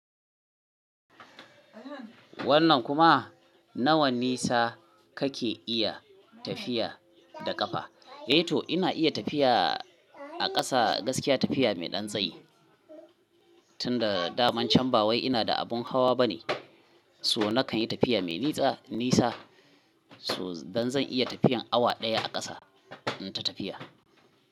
Wannan kuma nawa nisa kake iya tafiya da kafa? Eh to ina iya tafiya a ƙasa gaskiya tafiya mai ɗan tsayi tunda daman can bawai ina da abun hawa bane. So nakan yi tafiya mai nisa, so dan zan iya tafiyan awa ɗaya a ƙasa in ta tafiya.